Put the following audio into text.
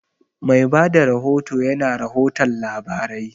Mai bada rahoto ya na rahoton labarai